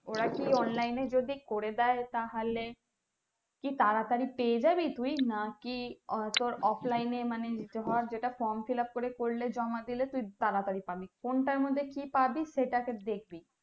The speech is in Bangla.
ওরা কি online এ যদি করে দেয় তাহলে তাড়াতাড়ি কি পেয়ে যাবি তুই নাকি তোর offline এ মানে নিতে হওয়ার যেটা from fillup করে করলে জমা দিলে তুই তাড়াতাড়ি পাবি সেটা দেখবি।